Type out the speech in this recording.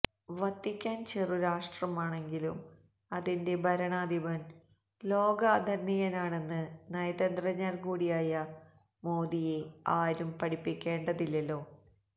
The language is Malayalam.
വത്തിക്കാൻ ചെറുരാഷ്ട്രമാണെങ്കിലും അതിന്റെ ഭരണാധിപൻ ലോകാദരണീയനാണെന്ന് നയതന്ത്രജ്ഞൻകൂടിയായ മോദിയെ ആരും പഠിപ്പിക്കേണ്ടതില്ലല്ലോ